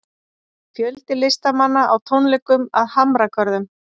Fjöldi listamanna á tónleikum að Hamragörðum